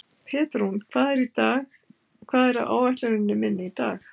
Pétrún, hvað er á áætluninni minni í dag?